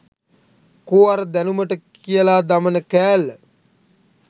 කෝ අර දැනුමට කියලා දමන කෑල්ල